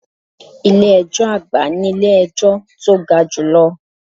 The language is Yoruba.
Ilé ẹjọ́ àgbà nílé ejọ́ tó ga jù lọ.